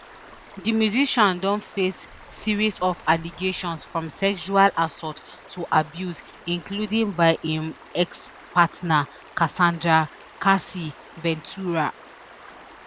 di musician don face series of allegations from sexual assault to abuse including by im expartner casandra cassie ventura